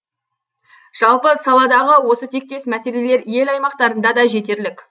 жалпы саладағы осы тектес мәселелер ел аймақтарында да жетерлік